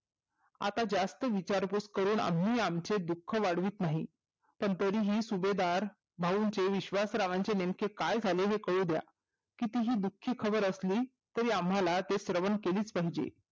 अता जास्त विचार पूस करून आम्ही आमचे दुःख वाढवीत नाही पण तरीही सुभेदार भाऊंचे विश्वासरावाचे नेमके काय झाले हे कळूद्या किती हि दुःखी खबर असली तरी आम्हला ते श्रवण केलीच पाहिजे